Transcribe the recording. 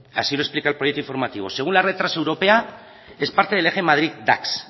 así lo explica el proyecto informativo según la red transeuropea es parte del eje madrid dax